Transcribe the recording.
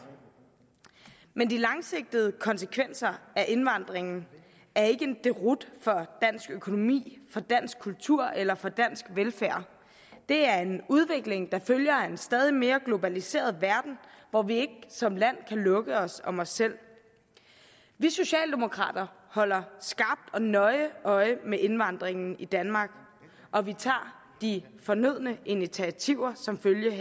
men de langsigtede konsekvenser af indvandringen er ikke en deroute for dansk økonomi for dansk kultur eller for dansk velfærd det er en udvikling der følger en stadig mere globaliseret verden hvor vi ikke som land kan lukke os om os selv vi socialdemokrater holder skarpt og nøje øje med indvandringen i danmark og vi tager de fornødne initiativer som følge